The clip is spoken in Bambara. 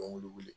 wuli